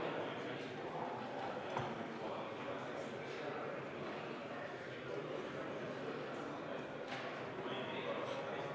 Annan põhiseaduskomisjoni poolt üle isikuandmete kaitse seaduse rakendamise seaduse eelnõu.